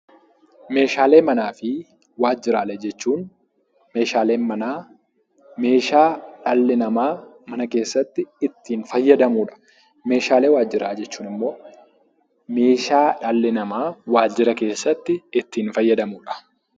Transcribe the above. Meeshaalee manaa fi waajjiraalee jechuun meeshaaleen manaa meeshaa dhalli namaa mana keessatti ittiin fayyadamudha. Meeshaalee waajjiraa jechuun ammoo meeshaa dhalli namaa waajjira keessatti ittiin fayyadamudha.